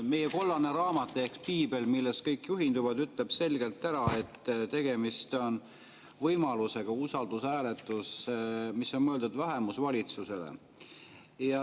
Meie kollane raamat ehk piibel, millest kõik juhinduvad, ütleb selgelt ära, et tegemist on võimalusega, usaldushääletus on mõeldud vähemusvalitsusele.